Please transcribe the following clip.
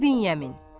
İbn Yəmin.